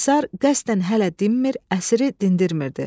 Komissar qəsdən hələ dinmir, əsiri dindirmirdi.